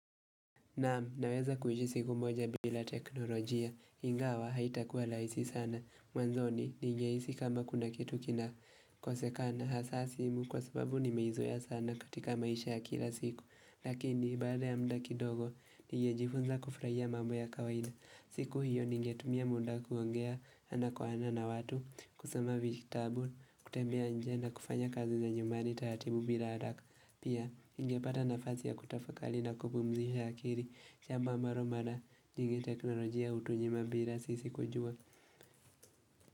Naam naweza kuishi siku moja bila teknolojia ingawa haitakua rahisi sana Mwanzoni nigehisi kama kuna kitu kinakosekana hasa simu kwa sababu nimeizoea sana katika maisha ya kila siku Lakini baada ya mda kidogo nigejifunza kufurahia mambo ya kawaida siku hiyo nigetumia muda kuongea ana kwa ana na watu kusoma vijitabu kutembea nje na kufanya kazi za nyumbani taratibu bila haraka Pia ningepata nafasi ya kutafakari na kupumzisha akili jambo ambalo mara nyingi teknolojia hutunyima bila sisi kujua.